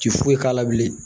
Ti foyi k'a la bilen